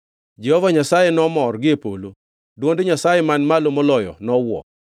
Jehova Nyasaye nomor gie polo; dwond Nyasaye Man Malo Moloyo nowuo.